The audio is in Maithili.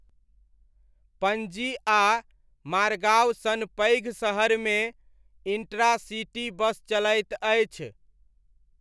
पणजी आ मार्गाव सन पैघ सहरमे इण्ट्रा सिटी बस चलैत अछि।